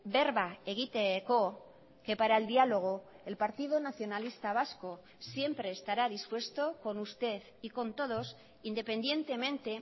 berba egiteko que para el diálogo el partido nacionalista vasco siempre estará dispuesto con usted y con todos independientemente